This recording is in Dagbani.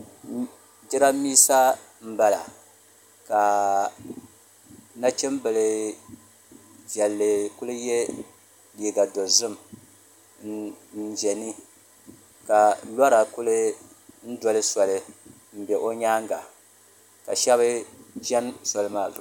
jirambisa m-bala ka nachimbila viɛlli kuli ye liiga dozim n-ʒe ni ka lɔra kuli doli soli m-be o nyaanga ka shɛba chɛni soli maa zuɣu